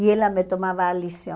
E ela me tomava a lição.